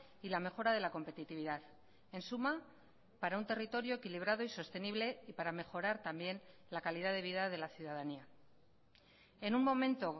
y la mejora de la competitividad en suma para un territorio equilibrado y sostenible y para mejorar también la calidad de vida de la ciudadanía en un momento